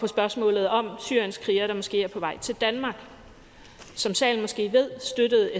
spørgsmålet om syrienskrigere der måske er på vej til danmark som salen måske ved støttede